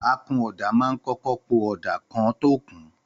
Àkúnọdà mà ń kọkọ pọ ọ̀dá kàn tọ kún